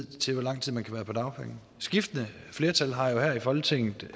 til hvor lang tid man kan være på dagpenge skiftende flertal har jo her i folketinget